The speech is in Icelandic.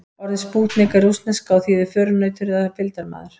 Orðið spútnik er rússneska og þýðir förunautur eða fylgdarmaður.